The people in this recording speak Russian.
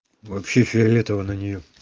вообще фиолетово на неё